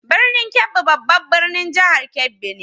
Birnin Kebbi babban birnin jihar Kebbi ne.